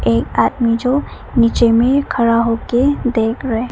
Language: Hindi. एक आदमी जो नीचे में खड़ा होकर देख रहे--